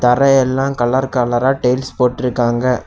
தரையெல்லா colour கலரா tiles போட்ருக்காங்க.